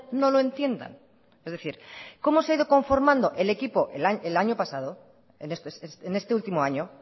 no lo entiendan es decir cómo se ha ido conformando el equipo el año pasado en este último año